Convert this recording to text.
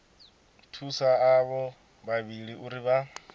thusa avho vhavhili uri vha